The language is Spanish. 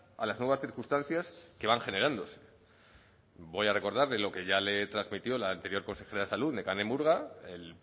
a las nuevas circunstancias que van generándose voy a recordarle lo que ya le transmitió la anterior consejera de salud nekane murga el